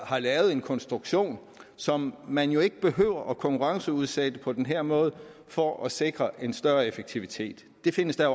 har lavet en konstruktion som man ikke behøver at konkurrenceudsætte på den her måde for at sikre en større effektivitet det findes der